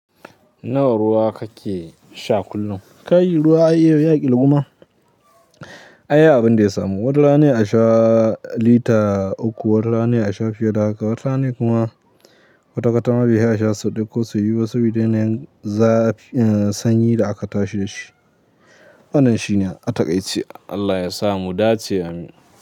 Nawa ruwa kake sha kullum? Kai ruwa ay yau ya ƙirguma. Ai abin da ya samu, wata rana ne a sha lita uku, wata rana a sha fiye da haka, wata rana kuma kwata kwata ma bai fi a sha sau ɗaya ko sau biyu ba saboda yanayin sanyi da aka tashi da shi. Wannan shine a taaice. Allah ya sa mu dace Amin.